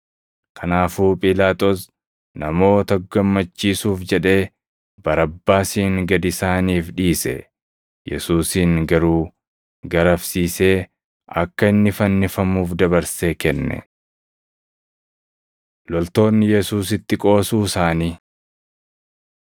Kanaafuu Phiilaaxoos namoota gammachiisuuf jedhee Barabbaasin gad isaaniif dhiise. Yesuusin garuu garafsiisee akka inni fannifamuuf dabarsee kenne. Loltoonni Yesuusitti Qoosuu Isaanii 15:16‑20 kwf – Mat 27:27‑31